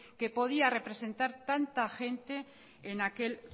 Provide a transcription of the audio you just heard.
que podía representar tanta gente en aquel